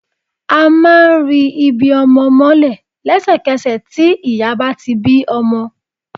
A máa ri ibi ọmọ mọ́lẹ̀ lẹ́sẹ̀kẹsẹ̀ tí tí ìyá bá ti bí ọmọ